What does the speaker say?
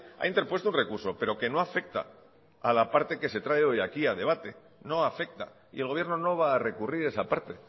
ha interpuesto un recurso pero que no afecta a la parte que se trae hoy aquí a debate no afecta y el gobierno no va a recurrir esa parte